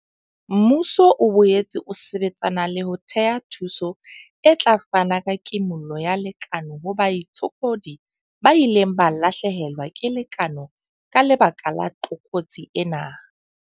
Mmuso o boetse o sebetsana le ho thea thuso e tla fana ka kimollo ya lekeno ho baitshokodi ba ileng ba lahlehelwa ke lekeno ka lebaka la tlokotsi ena.